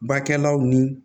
Bakɛlaw ni